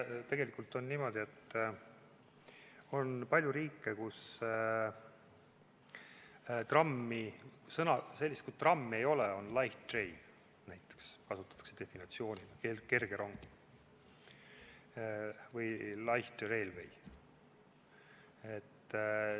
Tegelikult on niimoodi, et on palju riike, kus sellist sõna nagu "tramm" ei ole, on light train näiteks, seda kasutatakse definitsioonina, kerge rong või light railway.